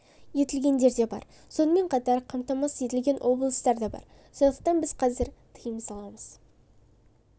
етілгендер де бар сонымен қатар қамтамасыз етілген облыстар да бар сондықтан біз қазір тыйым саламыз